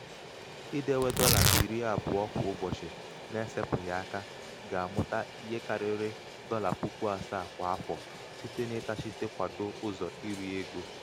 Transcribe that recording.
idewe dọlà iri àbụọ kwa ụbọ̀chị na-esēpụ̀ghị̀ aka ga-àmụta ihe karịrị dọla puku àsaà kwà afọ̀ site n’ịtachịte kwadoo ụzọ̀ irī egō.